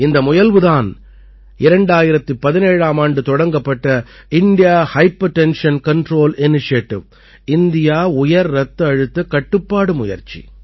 இந்த முயல்வு தான் 2017ஆம் ஆண்டு தொடங்கப்பட்ட India hypertension control initiative India உயர் ரத்த அழுத்த கட்டுப்பாடு முயற்சி